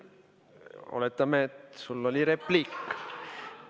Oletame, et sul oli repliik.